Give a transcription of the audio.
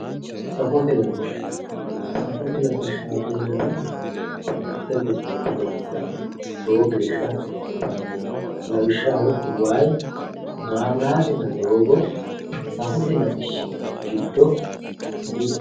Safote latishsha safote latishshaati yinannihu mitte gobba lophora lowo geeshsha hasiisanno lawishshaho wayi maabiraatenna doogo safote latishshi giddo mittete